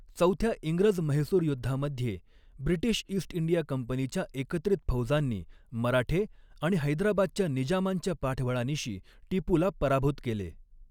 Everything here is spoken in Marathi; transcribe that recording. चौथ्या इंग्रज म्हैसूर युद्धामध्ये, ब्रिटीश ईस्ट इंडिया कंपनीच्या एकत्रित फौजांनी, मराठे आणि हैदराबादच्या निजामांच्या पाठबळानिशी टिपूला पराभूत केले.